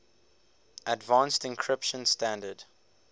advanced encryption standard